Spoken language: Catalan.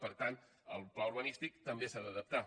per tant el pla urbanístic també s’ha d’adaptar